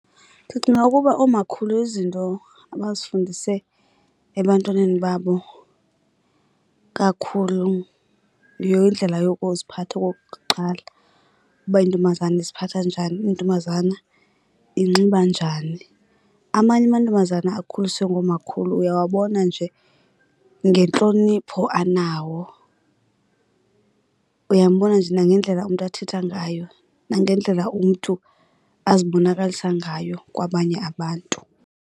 Ndicinga ukuba oomakhulu izinto abazifundise ebantwaneni babo kakhulu yindlela yokuziphatha okokuqala, uba intombazana iziphatha njani, intombazana inxiba njani. Amanye amantombazana akhuliswe ngoomakhulu uyawabona nje ngentlonipho anawo, uyambona nje nangendlela umntu athetha ngayo nangendlela umntu azibonakalisa ngayo kwabanye abantu.